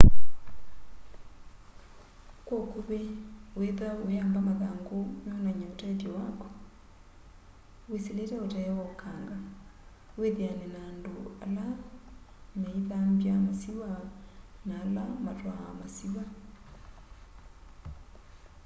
kwa ukuvi wiithwa uyamba mathangũ meonany'a ũtethyo wakũ wĩsĩlĩte utee wa ũkanga wĩthĩane na andũ ale meĩthambya masĩwa na ala matwaa masĩwa